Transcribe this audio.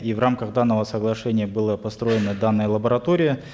и в рамках данного соглашения была построена данная лаборатория